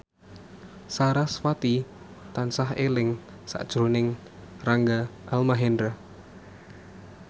sarasvati tansah eling sakjroning Rangga Almahendra